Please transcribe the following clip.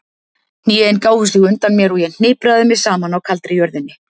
Hnén gáfu sig undan mér og ég hnipraði mig saman á kaldri jörðinni.